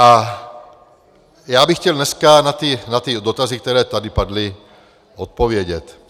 A já bych chtěl dneska na ty dotazy, které tady padly, odpovědět.